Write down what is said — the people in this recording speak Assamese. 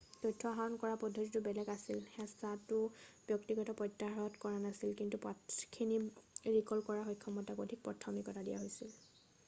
তথ্য আহৰণ কৰা পদ্ধতিটো বেলেগ আছিল হেঁচাটো ব্যক্তিগত প্ৰত্যাহাৰত আৰু নাছিল কিন্তু পাঠখিনি ৰিকল কৰাৰ সক্ষমতাক অধিক প্ৰাথমিকতা দিয়া হৈছিল